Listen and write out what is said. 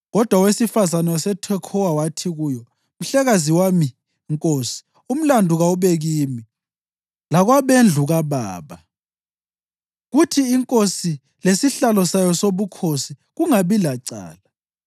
Kodwa owesifazane waseThekhowa wathi kuyo, “Mhlekazi wami, nkosi, umlandu kawube kimi lakwabendlu kababa, kuthi inkosi lesihlalo sayo sobukhosi kungabi lacala.”